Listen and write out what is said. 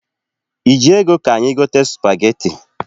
I ji ego ka anyị gote spageti?